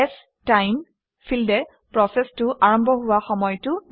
ষ্টাইম ফিল্ডে প্ৰচেচটো আৰম্ভ হোৱা সময়টো দিয়ে